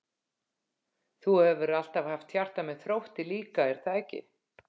Þú hefur alltaf haft hjarta með Þrótti líka er það ekki?